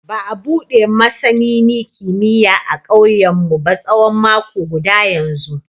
Ba a bude masanini kimiyya a kauyenmu ba tsawon mako guda yanzu.